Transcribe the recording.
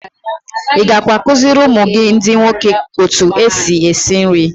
I gakwa akụziiri ụmụ gị ndị nwoke otu esi esi nri.